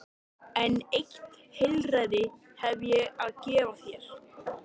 En eitt heilræði hef ég að gefa þér.